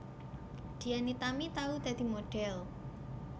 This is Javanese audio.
Dian Nitami tau dadi modhel